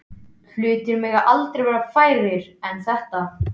Hlutir mega aldrei verða færri en þetta.